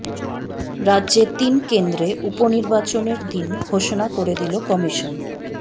রাজ্যে তিন কেন্দ্রে উপনির্বাচনের দিন ঘোষণা করে দিল কমিশন